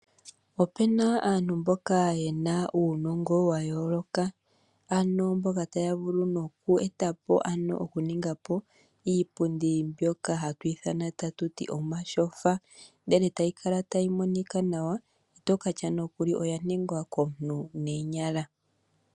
Opena aantu mboka yena uunongo wayooloka ano mboka taya vulu noku eta po ano okuninga po iipundi mbyoka hatu ithana tatuti omatyofa, ndele tayi kala tayi monika nawa ito katya nokuli oya ningwa komuntu neenyala.